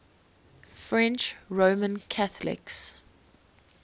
french roman catholics